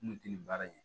N kun tɛ nin baara in kɛ